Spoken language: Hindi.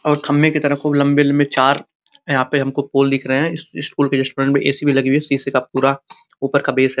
और खम्बे के तरह खूब लम्बे लम्बे चार यहाँ पे हमको पोल दिख रहे हैं इस इस पोल के जस्ट फ़्रंट में एसी भी लगी हुई है सीसे का पूरा ऊपर का बेस है।